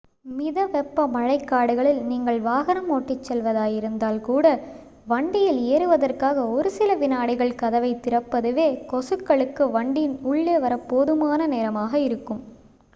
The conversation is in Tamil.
மித வெப்ப மழைக்காடுகளில் நீங்கள் வாகனம் ஓட்டிச் செல்வதாயிருந்தால் கூட வண்டியில் ஏறுவதற்காக ஒரு சில வினாடிகள் கதவைத் திறப்பதுவே கொசுக்களுக்கு வண்டியின் உள்ளே வரப் போதுமான நேரமாக இருக்கும்